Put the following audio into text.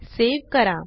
save करा